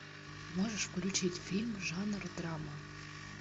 можешь включить фильм жанр драма